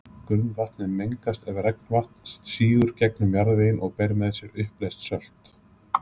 grunnvatnið mengast ef regnvatn sígur gegnum jarðveginn og ber með sér uppleyst sölt